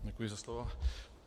Děkuji za slovo.